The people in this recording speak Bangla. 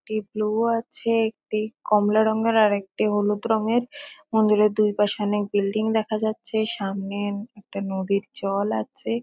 একটি ব্লু আছে একটি কমলা রঙের আরেকটি হলুদ রঙের। মন্দিরের দুই পাশে অনেক বিল্ডিং দেখা যাচ্ছে। সামনে একটা নদীর জল আছে।